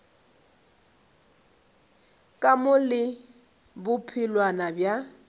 ka mo le bophelwana bja